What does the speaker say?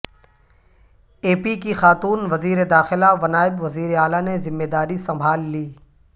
اے P کی خاتون وزیرداخلہ و نائب وزیراعلی نے ذمہ داری سنبھال لی